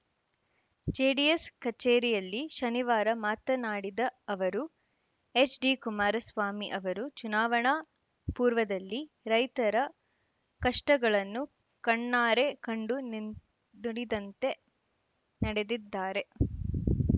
JDS ಕಚೇರಿಯಲ್ಲಿ ಶನಿವಾರ ಮಾತನಾಡಿದ ಅವರು ಎಚ್‌ಡಿಕುಮಾರಸ್ವಾಮಿ ಅವರು ಚುನಾವಣಾ ಪೂರ್ವದಲ್ಲಿ ರೈತರ ಕಷ್ಟಗಳನ್ನು ಕಣ್ಣಾರೆ ಕಂಡು ನಿಂ ನುಡಿದಂತೆ ನಡೆದಿದ್ದಾರೆ